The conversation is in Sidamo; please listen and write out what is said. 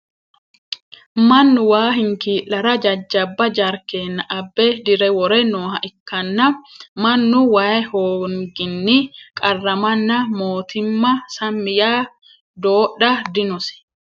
mannu waa hinkii'lara jajjabba jarkiina abbe dire wore nooha ikkanna, mannu wayi hoonginni qarramanna mootimma sammi yaa doodha dinose .